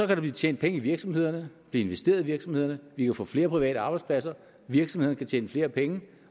der blive tjent penge i virksomhederne blive investeret i virksomhederne vi kan få flere private arbejdspladser virksomhederne kan tjene flere penge